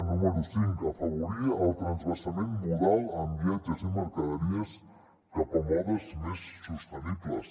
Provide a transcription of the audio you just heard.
número cinc afavorir el transvasament modal en viatges i mercaderies cap a modes més sostenibles